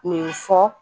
Nin fɔ